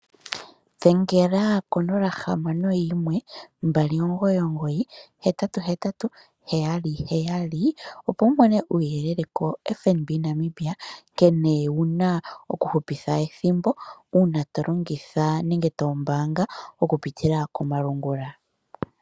Dhengela konola hamano yimwe mbali omugoyi, omugoyi ,hetatu, hetatu, heyali, heyali opo wu mone uuyelele ko FNB Namibia. Nkene wuna oku hupitha ethimbo uuna tolongitha tolongitha nenge to mbaanga oku pitila komalungula.